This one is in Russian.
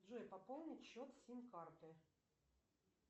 джой пополнить счет сим карты